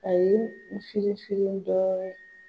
Ayi n firin firin dɔɔnin ye